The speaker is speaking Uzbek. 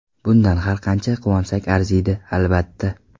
Bundan har qancha quvonsak arziydi, albatta.